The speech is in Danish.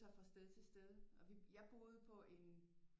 Sig fra sted til sted og vi jeg boede på en